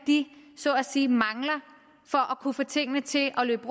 så at sige mangler for kunne få tingene til at løbe